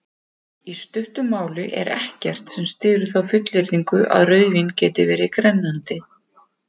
Í stuttu máli er ekkert sem styður þá fullyrðingu að rauðvín geti verið grennandi.